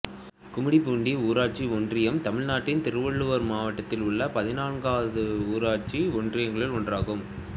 கும்மிடிப்பூண்டி ஊராட்சி ஒன்றியம் தமிழ்நாட்டின் திருவள்ளூர் மாவட்டத்தில் உள்ள பதினான்கு ஊராட்சி ஒன்றியங்களில் ஒன்றாகும்